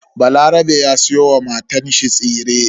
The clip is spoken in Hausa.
Balarabe ya siyo wa matanshi tsire.